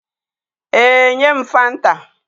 Ee, nye m fanta